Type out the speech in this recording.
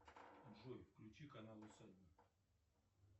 джой включи канал усадьба